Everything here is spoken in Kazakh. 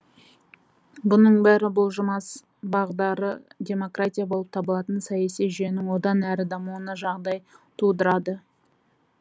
бұның бәрі бұлжымас бағдары демократия болып табылатын саяси жүйенің одан әрі дамуына жағдай тудырады